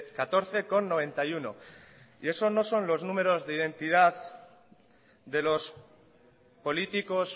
catorce coma noventa y uno esos no son los números de identidad de los políticos